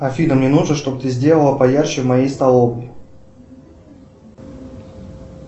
афина мне нужно чтобы ты сделала поярче в моей столовой